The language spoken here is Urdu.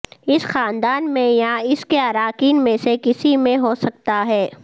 اس خاندان میں یا اس کے اراکین میں سے کسی میں ہو سکتا ہے